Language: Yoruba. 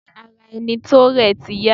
Ṣé ara ẹni tó rẹ̀ ti yá?